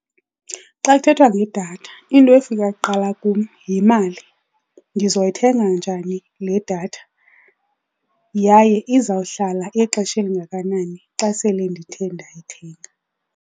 Xa kuthethwa ngedatha into efika kuqala kum yimali. Ndizoyithenga njani le datha, yaye izawuhlala ixesha elingakanani xa sele ndithe ndayithenga?